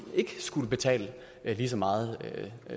ikke skulle betale lige så meget